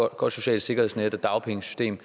et godt socialt sikkerhedsnet og dagpengesystem